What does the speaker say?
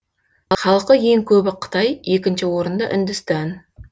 халқы ең көбі қытай екінші орында үндістан